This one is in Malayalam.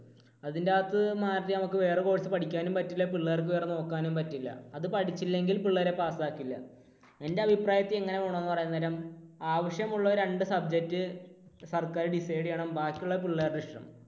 അതിന്റെ അകത്തു നിന്നും മാറി നമുക്ക് വേറെ course പഠിക്കാനും പറ്റില്ല പിള്ളേർക്ക് വേറെ നോക്കാനും പറ്റില്ല. അത് പഠിച്ചില്ലെങ്കിൽ പിള്ളേരെ pass ആക്കില്ല. എൻറെ അഭിപ്രായത്തിൽ എങ്ങനെ വേണം എന്ന് പറയാൻ നേരം ആവശ്യമുള്ള രണ്ട് subject സർക്കാർ decide ചെയ്യണം ബാക്കിയുള്ളത് പിള്ളേരുടെ ഇഷ്ടം.